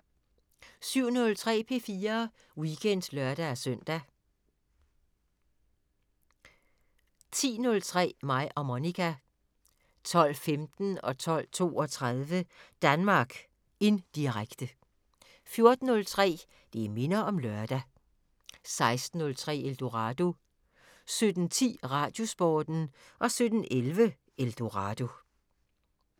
07:03: P4 Weekend (lør-søn) 10:03: Mig og Monica 12:15: Danmark Indirekte 12:32: Danmark Indirekte 14:03: Det minder om lørdag 16:03: Eldorado 17:10: Radiosporten 17:11: Eldorado